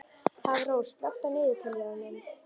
Hafrós, slökktu á niðurteljaranum.